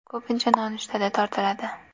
Ko‘pincha nonushtada tortiladi.